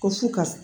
Ko fu ka